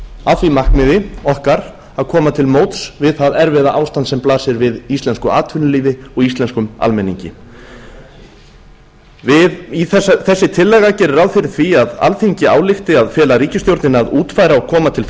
að því markmiði okkar að koma til móts við það erfiða ástand sem blasir við íslensku atvinnulífi og íslenskum almenningi þessi tillaga gerir ráð fyrir því að alþingi álykti að fela ríkisstjórninni að útfæra og koma til